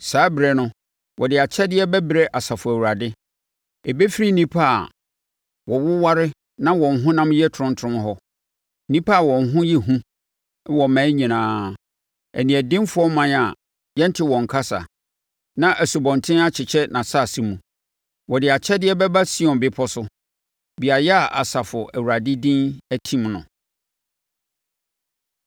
Saa ɛberɛ no wɔde akyɛdeɛ bɛbrɛ Asafo Awurade ɛbɛfiri nnipa a wɔwoware na wɔn honam yɛ tromtrom hɔ, nnipa a wɔn ho yɛ hu wɔ mmaa nyinaa, aniɛdenfoɔ ɔman a yɛnte wɔn kasa, na nsubɔntene akyekyɛ nʼasase mu. Wɔde akyɛdeɛ bɛba Sion Bepɔ so, beaeɛ a Asafo Awurade din atim no.